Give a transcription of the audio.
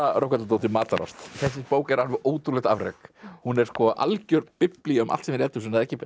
Rögnvaldardóttir matarást þessi bók er alveg ótrúlegt afrek hún er algjör biblía um allt sem er í eldhúsinu ekki